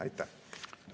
Aitäh!